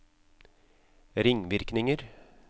ringvirkninger